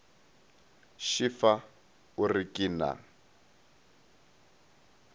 šefa o re ke na